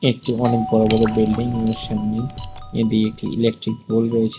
একটি অনেক বড়ো বড়ো বিল্ডিং এগুনোর সামনে এদি একটি ইলেকট্রিক পোল রয়েছে।